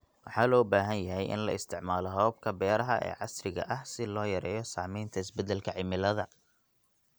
Waxaa loo baahan yahay in la isticmaalo hababka beeraha ee casriga ah si loo yareeyo saameynta isbedelka cimilada.